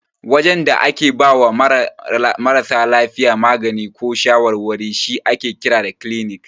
Wajen da ake bawa marasa lafiya magani ko shawarwari shi ake kira da kilinik.